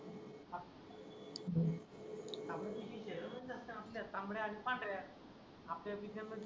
आपल्या किचनमध्यीस असत. आपल्या तांबड्या आणि पांढऱ्या आपल्या किचनमधी